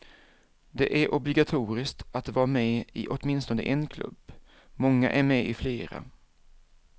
Det är obligatoriskt att vara med i åtminstone en klubb, många är med i flera.